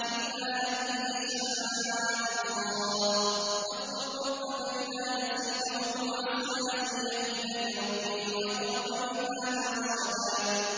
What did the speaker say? إِلَّا أَن يَشَاءَ اللَّهُ ۚ وَاذْكُر رَّبَّكَ إِذَا نَسِيتَ وَقُلْ عَسَىٰ أَن يَهْدِيَنِ رَبِّي لِأَقْرَبَ مِنْ هَٰذَا رَشَدًا